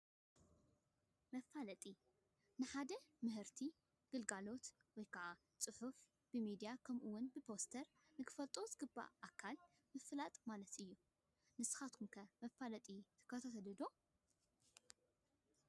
መፋለጢ፡- ንሓደ ምህርቲ ፣ ግልጋሎት ወይ ከዓ ስራሕ ብፅሑፍ፣ ብሚድያ ከምኡ ውን ብፖስተር ንኽፈልጦ ዝግበኦ ኣካል ምፍላጥ ማለት እዩ፡፡ ንስኻትኩም ከ መፋለጢ ትከታተሉ ዶ?